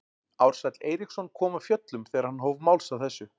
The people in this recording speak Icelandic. Ársæll Eiríksson kom af fjöllum þegar hann hóf máls á þessu.